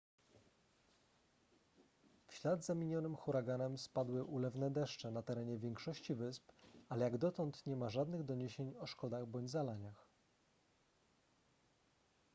w ślad za minionym huraganem spadły ulewne deszcze na terenie większości wysp ale jak dotąd nie ma żadnych doniesień o szkodach bądź zalaniach